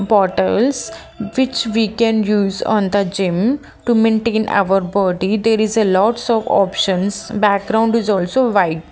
portals which we can use on the gim to maintain our body there is a lots of options background is also white .